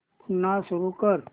पुन्हा सुरू कर